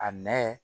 A nɛ